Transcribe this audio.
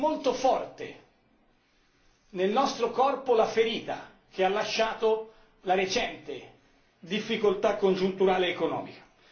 Perché è molto forte nel nostro corpo la ferita che ha lasciato la recente difficoltà congiunturale economica.